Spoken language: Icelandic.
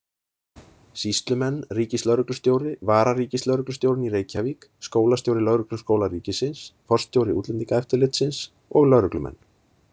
Sýslumenn, ríkislögreglustjóri, vararíkislögreglustjórinn í Reykjavík, skólastjóri Lögregluskóla ríkisins, forstjóri Útlendingaeftirlitsins og lögreglumenn.